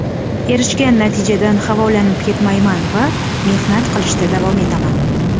Erishgan natijadan havolanib ketmayman va mehnat qilishda davom etaman.